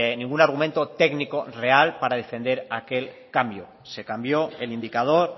ningún argumento técnico real para defender aquel cambio se cambió el indicador